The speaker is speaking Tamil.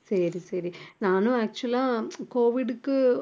சரி சரி நானும் actual ஆ covid க்கு